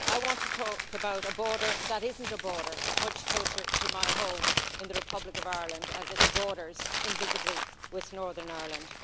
I want to talk about a border that isn't a border, much closer to my home in the Republic of Ireland, as it borders invisibly with Northern Ireland.